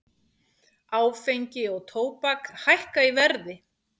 Áfengi og tóbak hækka í verði